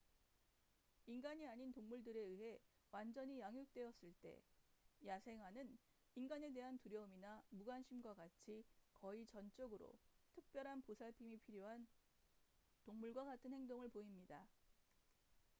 인간이 아닌 동물들에 의해 완전히 양육되었을 때 야생아는 인간에 대한 두려움이나 무관심과 같이 거의 전적으로 특별한 보살핌이 필요한 동물과 같은 행동을 보입니다